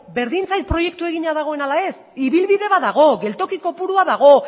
berdin zait proiektua egina dagoen ala ez ibilbide bat dago geltoki kopurua dago